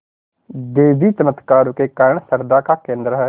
देवी चमत्कारों के कारण श्रद्धा का केन्द्र है